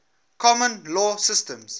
common law systems